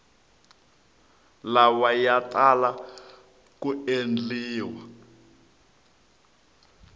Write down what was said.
lawa ya tala ku endliwa